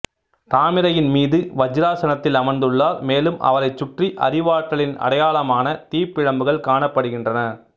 தாமரையின் மீது வஜ்ராசனத்தில் அமர்ந்துள்ளார் மேலும் அவரை சுற்றி அறிவாற்றலின் அடையாளமான தீப்பிழம்புகள் காணப்படுகின்றன